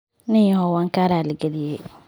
ninyahow waan kaa raali galiyay.